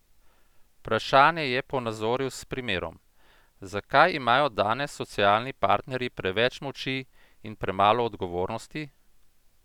Vprašanje je ponazoril s primerom: 'Zakaj imajo danes socialni partnerji preveč moči in premalo odgovornosti?